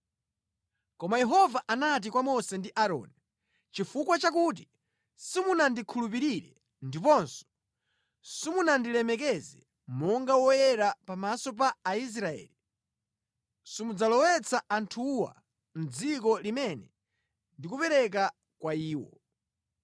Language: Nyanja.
Koma Yehova anati kwa Mose ndi Aaroni, “Chifukwa chakuti simunandikhulupirire ndiponso simunandilemekeze monga Woyera pamaso pa Aisraeli, simudzalowetsa anthuwa mʼdziko limene ndikupereka kwa iwo.”